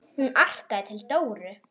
Hún arkaði til Dóru.